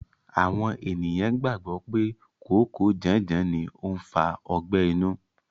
Àwọn ènìyàn gbàgbọ́ pé kòókòó janjan ni ó ń fa ọgbẹ́ inú.